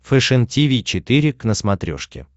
фэшен тиви четыре к на смотрешке